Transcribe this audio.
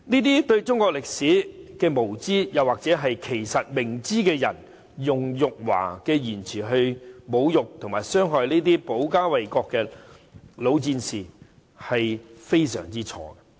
這些對中國歷史無知——又或其實明知而故犯——的人，他們用辱華的言詞來侮辱及傷害這些保家衞國的老戰士，是非常錯誤的。